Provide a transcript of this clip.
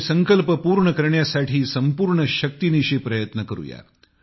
तो संकल्प पूर्ण करण्यासाठी संपूर्ण शक्तीनिशी प्रयत्न करू या